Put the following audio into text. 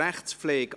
8. Rechtspflege